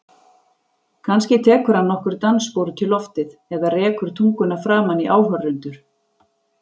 Kannski tekur hann nokkur dansspor út í loftið eða rekur tunguna framan í áhorfendur.